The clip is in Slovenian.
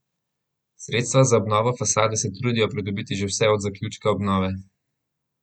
Sredstva za obnovo fasade se trudijo pridobiti že vse od zaključka obnove.